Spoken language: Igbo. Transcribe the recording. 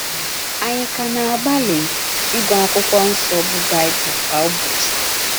Ànyị ka na - agbalị ịgụ akwụkwọ nso bụ Baịbụl kwa ụbọchị?